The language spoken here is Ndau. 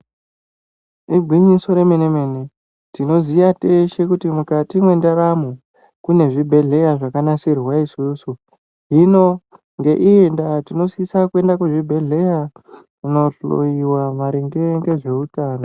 Igwinyiso remene mene tinoziya teshe kuti mukati mendaramo kune zvibhedhlera zvakanasirirwa isusu hino ngeiyi nda tinosisa kuenda kuchibhedhlera kana kuhloiwa maringe nezvehutano.